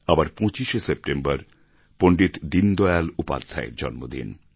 আবার ২৫ শে সেপ্টেম্বর পণ্ডিত দীনদয়াল উপাধ্যায়ের জন্মদিন